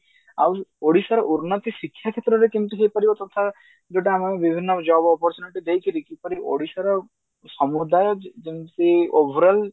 ଆଉ ଓଡିଶାର ଉନ୍ନତି ଶିକ୍ଷା କ୍ଷେତ୍ରରେ କେମତି ହେଇପାରିବ ତଥା ଯୋଉଟା ଆମର ବିଭିନ୍ନ job opportunity ଦେଇକିରି କିପରି ଓଡିଶାର ସମୁଦାୟ ଯ ଯେମତି overall